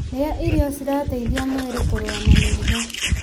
Rĩa irio cirateithia mwĩrĩ kũrũa na mĩrimũ.